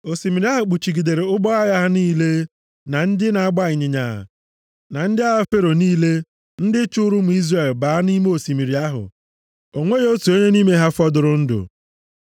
Osimiri ahụ kpuchigidere ụgbọ agha ha niile, na ndị na-agba ịnyịnya, na ndị agha Fero niile ndị chụụrụ ụmụ Izrel baa nʼime osimiri ahụ. O nweghị otu onye nʼime ha fọdụrụ ndụ.